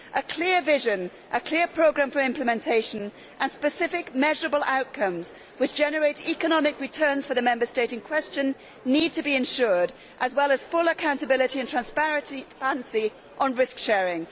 A clear vision, a clear programme for implementation, and specific measurable outcomes which generate economic returns for the Member State in question need to be ensured, as well as full accountability and transparency on risk sharing.